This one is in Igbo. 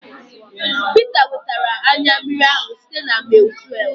Peter wetara anyụ mmiri ahụ site na maịl tuev